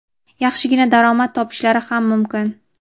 yaxshigina daromad topishlari ham mumkin.